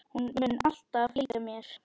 Hún mun alltaf fylgja mér.